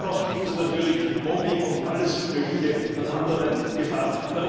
Missbrauch gibt es natürlich, Mobbing und alles Mögliche an anderen Gefahren.